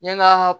N ye n ka